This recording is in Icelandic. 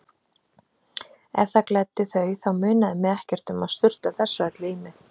Ef það gleddi þau þá munaði mig ekkert um að sturta þessu öllu í mig.